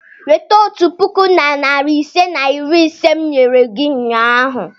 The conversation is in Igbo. Weta otu puku na narị ise na iri ise m nyere gị ụnyahụ!